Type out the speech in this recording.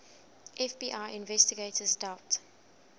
fbi investigators doubt